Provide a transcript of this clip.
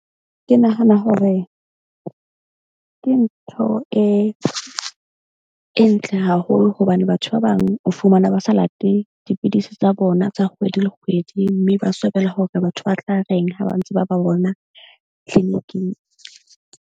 Ke nahana hore ke ntho e e ntle haholo. Hobane batho ba bang o fumane ba sa late dipidisi tsa bona tsa kgwedi le kgwedi, mme ba swabela hore batho ba tla reng ha ba ntse ba ba bona clinic-ing.